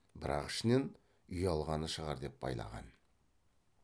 бірақ ішінен ұялғаны шығар деп байлаған